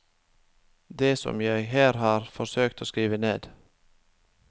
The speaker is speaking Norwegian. Det som jeg her har forsøkt å skrive ned.